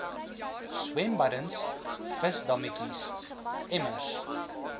swembaddens visdammetjies emmers